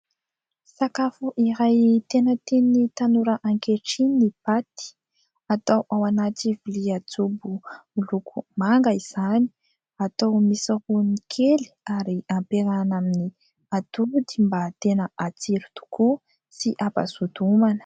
Sakafo iray tena tian'ny tanora ankehitriny ny paty, atao ao anaty lovia jobo miloko manga izany, atao misao rony kely ary ampiarahana amin'ny atody, mba tena hatsiro tokoa sy hampazoto homana.